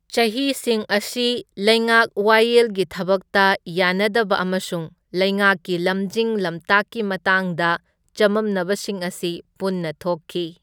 ꯆꯍꯤꯁꯤꯡ ꯑꯁꯤ ꯂꯩꯉꯥꯛ ꯋꯥꯌꯦꯜꯒꯤ ꯊꯕꯡꯇ ꯌꯥꯅꯗꯕ ꯑꯃꯁꯨꯡ ꯂꯩꯉꯥꯛꯀꯤ ꯂꯝꯖꯤꯡ ꯂꯝꯇꯥꯛꯀꯤ ꯃꯇꯥꯡꯗ ꯆꯃꯝꯅꯕꯁꯤꯡ ꯑꯁꯤ ꯄꯨꯟꯅ ꯊꯣꯛꯈꯤ꯫